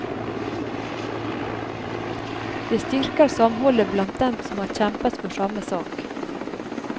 Det styrker samholdet blant dem som har kjempet for samme sak.